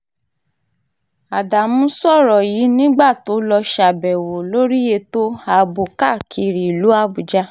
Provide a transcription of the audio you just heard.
ádámù sọ̀rọ̀ yìí nígbà tó lọ́ọ́ ṣàbẹ̀wò lórí ètò ààbò káàkiri ìlú àbújá